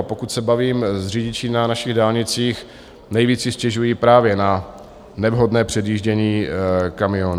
A pokud se bavím s řidiči na našich dálnicích, nejvíc si stěžují právě na nevhodné předjíždění kamionů.